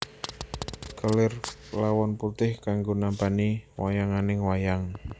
Kelir lawon putih kanggo nampani wayanganing wayang